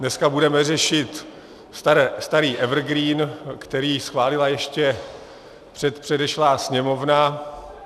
Dneska budeme řešit starý evergreen, který schválila ještě předešlá Sněmovna.